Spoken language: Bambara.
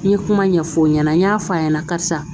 N ye kuma ɲɛfɔw ɲɛna n y'a fɔ a ɲɛna karisa